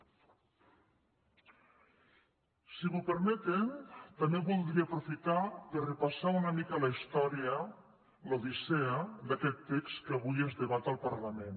si m’ho permeten també voldria aprofitar per repassar una mica la història l’odissea d’aquest text que avui es debat al parlament